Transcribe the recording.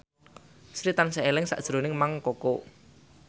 Sri tansah eling sakjroning Mang Koko